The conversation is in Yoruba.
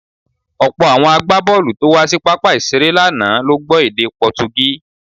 Ọ̀pọ̀ àwọn agbábọ̀ọ̀lù tó wá sí pápá ìṣeré lánàá ló gbọ́ èdè Pọtugí.